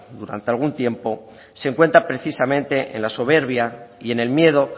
durante algún tiempo se encuentra precisamente en la soberbia y en el miedo